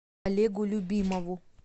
олегу любимову